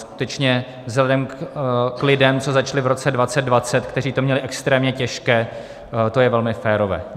Skutečně vzhledem k lidem, co začali v roce 2020, kteří to měli extrémně těžké, je to velmi férové.